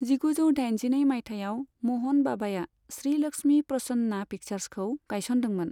जिगुजौ दाइनजिनै मायथायाव म'हन बाबाया श्री लक्ष्मी प्रसन्ना पिक्चार्सखौ गायसनदोंमोन।